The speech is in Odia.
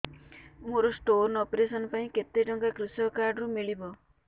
ମୋର ସ୍ଟୋନ୍ ଅପେରସନ ପାଇଁ କେତେ ଟଙ୍କା କୃଷକ କାର୍ଡ ରୁ ମିଳିବ